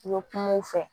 U ye kumaw fɔ